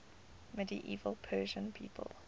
medieval persian people